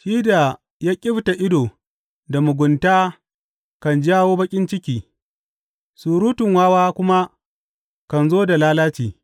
Shi da ya ƙyifta ido da mugunta kan jawo baƙin ciki surutun wawa kuma kan zo da lalaci.